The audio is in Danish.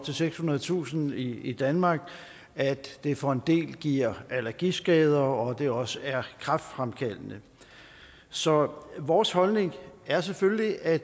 sekshundredetusind i danmark at det for en dels vedkommende giver allergiskader og at det også er kræftfremkaldende så vores holdning er selvfølgelig at